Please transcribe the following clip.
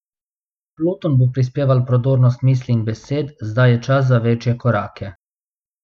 Pluton bo prispeval prodornost misli in besed, zdaj je čas za večje korake.